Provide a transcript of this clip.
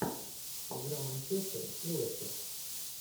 игра манчестер и лестер